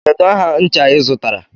Kedu aha ncha ị zụtara?